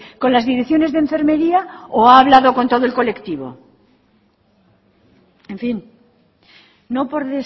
con las direcciones de enfermería o ha hablado con todo el colectivo en fin no por